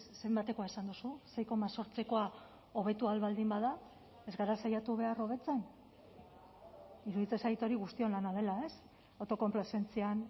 zenbatekoa esan duzu sei koma zortzikoa hobetu ahal baldin bada ez gara saiatu behar hobetzen iruditzen zait hori guztion lana dela autokonplazentzian